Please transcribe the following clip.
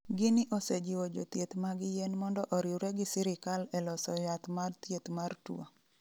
Guinea osejiwo jothieth mag yien mondo oriwre gi sirikal e loso yath mar thieth mar tuo.